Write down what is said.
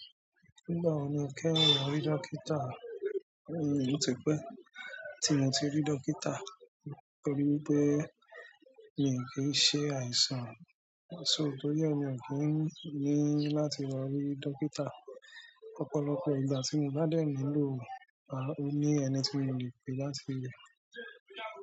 Nígbà wo ni o kẹ́yìn lọ rí dókítà? Ó ti pẹ́ tí mo ti rí dókítà torí pé miì kí ń ṣe àìsàn, so torí ẹ̀ mi ò kí n ní láti lọ rí dókítà. Ọ̀pọ̀lọpọ̀ ìgbà tí mo bá dẹ̀ nílò rẹ̀, ó ní ẹni tí mo lè pè látibí báyìí.